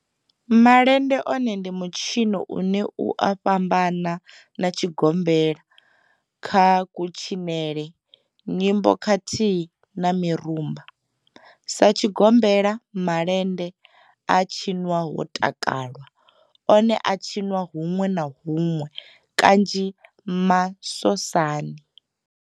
Malende one ndi mitshino une u a fhambana na tshigombela kha kutshinele, nyimbo khathihi na mirumba. Sa tshigombela, malende a tshinwa ho takalwa, one a a tshiniwa hunwe na hunwe kanzhi masosani.